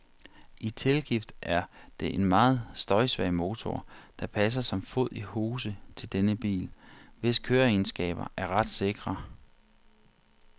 I tilgift er det en meget støjsvag motor, der passer som fod i hose til denne bil, hvis køreegenskaber er ret sikre.